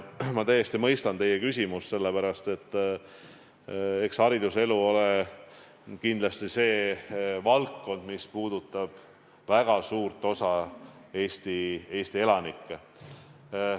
Ma täiesti mõistan teie küsimust, sest eks hariduselu ole kindlasti valdkond, mis puudutab väga suurt osa Eesti elanikke.